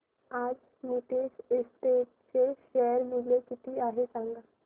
आज नीतेश एस्टेट्स चे शेअर मूल्य किती आहे सांगा